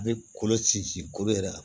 A bɛ kolo sinsin kolo yɛrɛ la